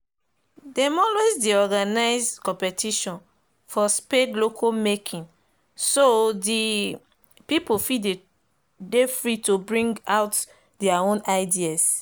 them dey always organize competition for spade local making so the people fit dey free to bring out there own ideas.